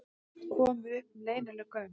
Komu upp um leynileg göng